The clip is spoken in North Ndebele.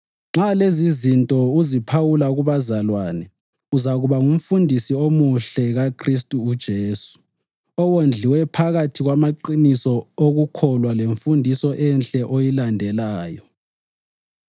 Nxa lezizinto uziphawula kubazalwane, uzakuba ngumfundisi omuhle kaKhristu uJesu, owondliwe phakathi kwamaqiniso okukholwa lemfundiso enhle oyilandelayo.